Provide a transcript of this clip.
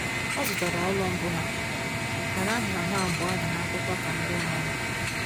Ọ zụtara ụlọ mbụ ha, mana aha ha abụọ dị n'akwụkwọ ka ndị nwe ụlọ